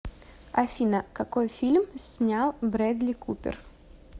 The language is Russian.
афина какой фильм снял брэдли купер